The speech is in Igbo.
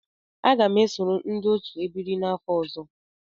Aga m esoro ndị otu ebiri m n'afọ ọzọ.